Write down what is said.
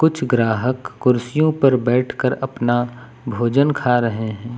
कुछ ग्राहक कुर्सियों पर बैठ कर अपना भोजन खा रहे हैं।